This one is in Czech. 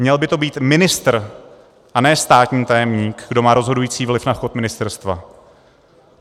Měl by to být ministr a ne státní tajemník, kdo má rozhodující vliv na chod ministerstva.